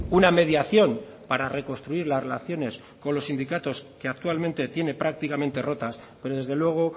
una mediación para reconstruir las relaciones con los sindicatos que actualmente tiene prácticamente rotas pero desde luego